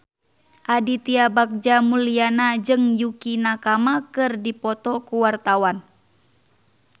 Aditya Bagja Mulyana jeung Yukie Nakama keur dipoto ku wartawan